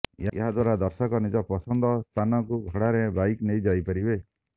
ଏହାଦ୍ୱାରା ଦର୍ଶକ ନିଜ ପସନ୍ଦ ସ୍ଥାନକୁ ଭଡ଼ାରେ ବାଇକ ନେଇ ଯାଇପାରିବେ